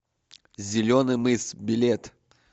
зеленый мыс билет